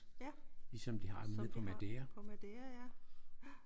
Ja. Som de har på Maderia ja